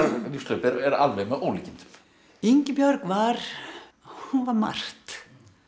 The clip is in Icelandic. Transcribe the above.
lífshlaup er alveg með ólíkindum Ingibjörg var margt